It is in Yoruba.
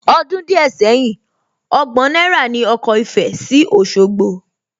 Ọdún díẹ̀ sẹ́yìn, ọgbọ̀n náírà ní ọkọ̀ ìfẹ sí Òsogbo